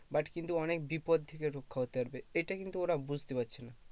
but কিন্তু অনেক বিপদ থেকে রক্ষা হতে পারবে এটা কিন্তু ওরা বুঝতে পারছে না